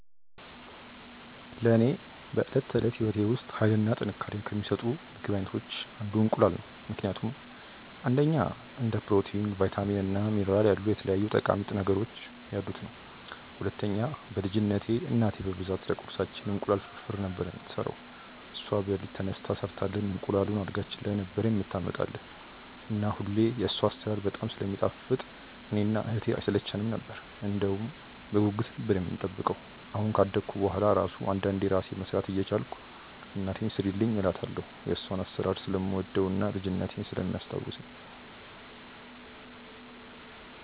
ለኔ በዕለት ተዕለት ሕይወቴ ውስጥ ኃይልን እና ጥንካሬን ከሚሰጡኝ የምግብ አይነቶች አንዱ እንቁላል ነው ምክንያቱም፦ 1. እንደ ፕሮቲን፣ ቫይታሚን እና ሚኒራል ያሉ የተለያዩ ጠቃሚ ንጥረ ነገሮች ያሉት ነዉ። 2. በ ልጅነትቴ እናቴ በብዛት ለቁርሳችን እንቁላል ፍርፍር ነበር የምትሰራው እሷ በለሊት ተነስታ ሰርታልን እንቁላሉን አልጋችን ላይ ነበር የምታመጣልን እና ሁሌ የሷ አሰራር በጣም ስለሚጣፍጥ እኔ እና እህቴ አይሰለቸነም ነበር እንደውም በጉጉት ነበር የምንጠብቀው አሁን ካደኩ በሁዋላ እራሱ አንዳንዴ እራሴ መስራት እየቻልኩ እናቴን ስሪልኝ እላታለው የሷን አሰራር ስለምወደው እና ልጅነቴን ስለሚያስታውሰኝ።